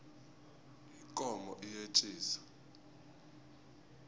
ikomo iyetjisa